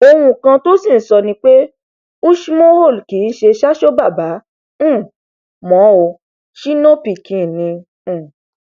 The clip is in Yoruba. ohun kan tó sì ń sọ ni pé usoomhole kì í ṣe sacho bàbá um mọ o shino pikin ni um